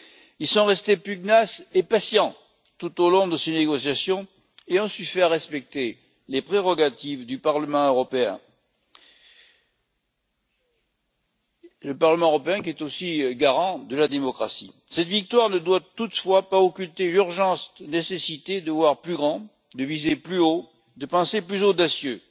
Ils sont restés pugnaces et patients tout au long de ces négociations et ont su faire respecter les prérogatives du Parlement européen, qui est aussi garant de la démocratie. Cette victoire ne doit toutefois pas occulter l'urgente nécessité de voir plus grand, de viser plus haut, de penser plus audacieux.